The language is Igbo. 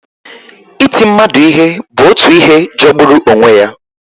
Iti mmadụ ihe bụ otu ihe jọgburu onwe ya.